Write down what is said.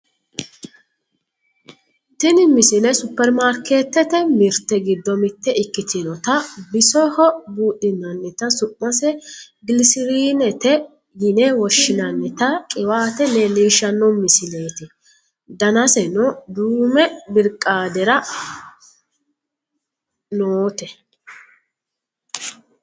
tini misile supperimarkeettete mirte giddo mitte ikkitinota bsoho buudhinannita su'mase gilisiriinete yine woshshinannita qiwaate leellishshanno misileeti danaseno duume birqaadere noote